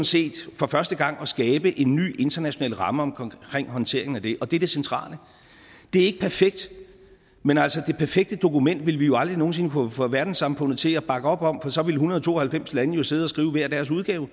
set for første gang at skabe en ny international ramme omkring håndteringen af det og det er det centrale det er ikke perfekt men altså det perfekte dokument ville vi jo aldrig nogen sinde kunne få verdenssamfundet til at bakke op om for så ville en hundrede og to og halvfems lande jo sidde og skrive hver deres udgave